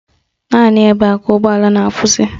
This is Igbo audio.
Naanị ebe a ka ụgbọala na-akwụsị